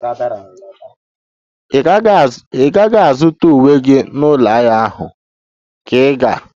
Ị gaghị azụta uwe gị n'ụlọ ahịa ahụ, ka ị ga-?